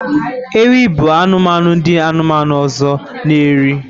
Ewi bu anumanu ndi anumanu ozor na eri